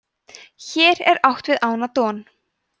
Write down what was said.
hér er átt við ána don